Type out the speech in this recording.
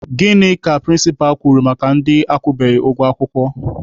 Gịnị ka prịnsịpa kwuru maka ndị akwụbeghị ụgwọ akwụkwọ?